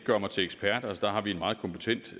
set